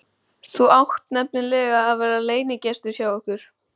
Þú átt nefnilega að vera leynigestur hjá okkur!